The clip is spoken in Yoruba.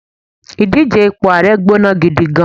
idije ipo ààrẹ gbóná gidi gan